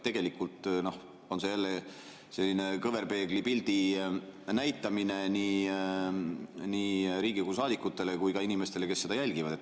Tegelikult on see selline kõverpeegli pildi näitamine nii Riigikogu saadikutele kui ka inimestele, kes seda jälgivad.